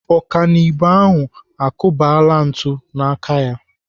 Ọkanibo ahụ akụbala ntụ n'aka ya.